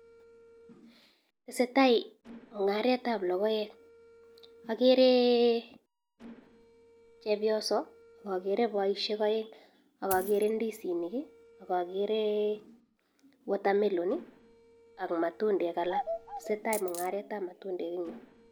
Tesetai mungaret ab logoek agere chepyoso agere baishek aeng agagere indisinik agagere water melon akmatundek alaktesetai mungaret ab matundek en ireyu